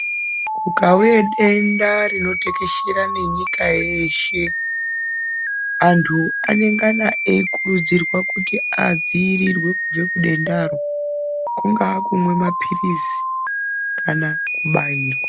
Kukauye denda rinotekeshera ngenyika yeshee andu anengana eyikurudzirwa kuti adziyirirwe kubve kuenda roo kungave kumwe mapiritsi kana kubayirwa.